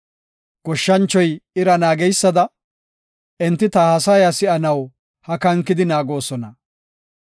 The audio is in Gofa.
Goshshanchoy ira naageysada, enti ta haasaya si7anaw hakankidi naagoosona.